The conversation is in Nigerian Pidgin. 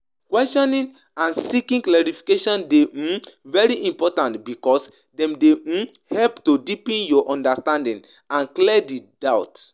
Questioning and seeking clarification dey um very important because dem dey um help to deepen your understanding and clear di doubts.